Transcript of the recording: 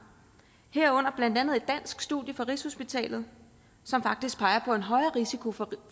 herunder blandt andet et dansk studie fra rigshospitalet som faktisk peger på en højere risiko for